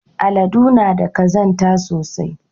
Aladu na da kazanta sosai.